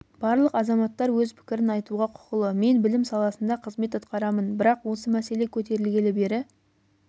барлық азаматтар өз пікірін айтуға құқылы мен білім саласында қызмет атқарамын бірақ осы мәселе көтерілгелі бері